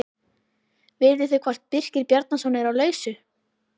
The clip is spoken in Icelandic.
Vitið þið hvort Birkir Bjarnason er á lausu?